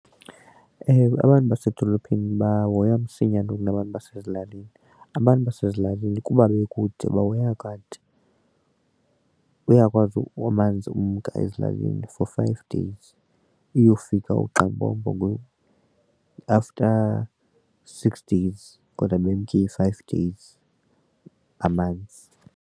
Ewe, abantu basedolophini bahoywa msinya kunabantu basezilalini. Abantu basezilalini kuba bekude bahoya kade uyakwazi amanzi umka ezilalini for five days iyofika after six days kodwa bemke i-five days amanzi.